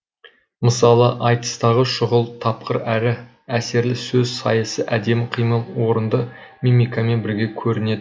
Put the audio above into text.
мысалы айтыстағы шұғыл тапқыр әрі әсерлі сөз сайысы әдемі қимыл орынды мимикамен бірге көрінеді